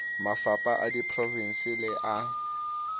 mafapha a diprovense le a